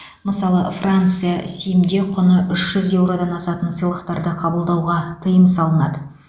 мысалы франция сім де құны үш жүз еуродан асатын сыйлықтарды қабылдауға тыйым салынады